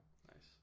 Nice